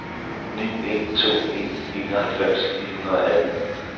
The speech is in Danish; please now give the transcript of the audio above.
ni en to en enoghalvfems ni hundrede og atten